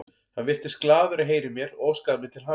Hann virtist glaður að heyra í mér og óskaði mér til hamingju.